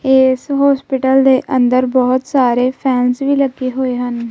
ਇਸ ਹੋਸਪਿਟਲ ਦੇ ਅੰਦਰ ਬਹੁਤ ਸਾਰੇ ਫੈਨਸ ਵੀ ਲੱਗੇ ਹੋਏ ਹਨ।